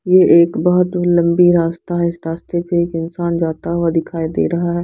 ये एक बहुत ही लंबी रास्ता है इस रास्ते पे एक इंसान जाता हुआ दिखाई दे रहा है।